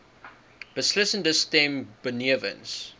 beslissende stem benewens